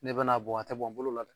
N'i bɛna a bɔn tɛ bɔn bolo la dɛ